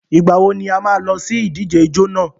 Ìgbà wo ni a má a lọ sí ìdíje ijó nà?